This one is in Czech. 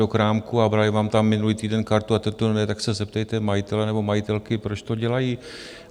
do krámku a brali vám tam minulý týden kartu a teď ne, tak se zeptejte majitele nebo majitelky, proč to dělají.